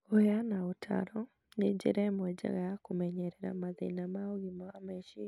Kũheana ũtaaro nĩ njĩra ĩmwe njega ya kũmenyerera mathĩna ma ũgima wa meciria.